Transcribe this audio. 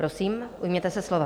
Prosím, ujměte se slova.